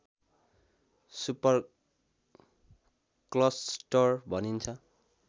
super cluster भनिन्छ